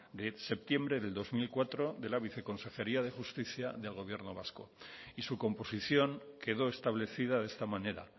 de septiembre del dos mil cuatro de la viceconsejería de justicia del gobierno vasco y su composición quedó establecida de esta manera